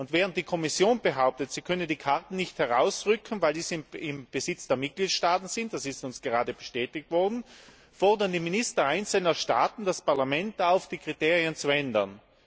Während die Kommission behauptet, sie könne die Karten nicht herausrücken, weil diese im Besitz der Mitgliedstaaten sind das ist uns gerade bestätigt worden fordern Minister einzelner Staaten das Parlament auf, die Kriterien zu ändern.